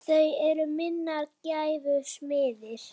Þau eru minnar gæfu smiðir.